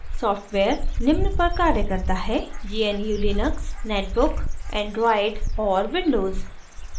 software निम्न पर कार्य करता है